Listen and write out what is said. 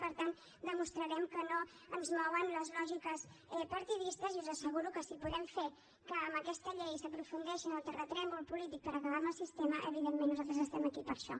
per tant demostrarem que no ens mouen les lògiques partidistes i us asseguro que si podem fer que amb aquesta llei s’aprofundeixi en el terratrèmol polític per acabar amb el sistema evidentment nosaltres estem aquí per a això